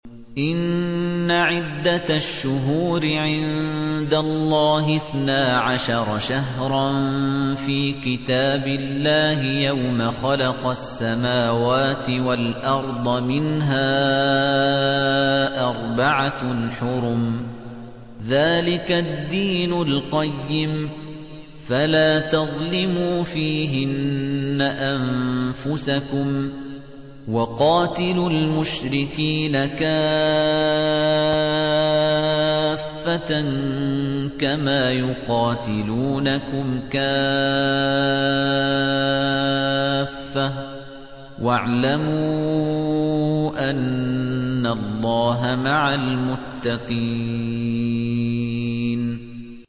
إِنَّ عِدَّةَ الشُّهُورِ عِندَ اللَّهِ اثْنَا عَشَرَ شَهْرًا فِي كِتَابِ اللَّهِ يَوْمَ خَلَقَ السَّمَاوَاتِ وَالْأَرْضَ مِنْهَا أَرْبَعَةٌ حُرُمٌ ۚ ذَٰلِكَ الدِّينُ الْقَيِّمُ ۚ فَلَا تَظْلِمُوا فِيهِنَّ أَنفُسَكُمْ ۚ وَقَاتِلُوا الْمُشْرِكِينَ كَافَّةً كَمَا يُقَاتِلُونَكُمْ كَافَّةً ۚ وَاعْلَمُوا أَنَّ اللَّهَ مَعَ الْمُتَّقِينَ